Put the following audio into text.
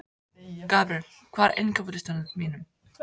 Gabríel, hvað er á innkaupalistanum mínum?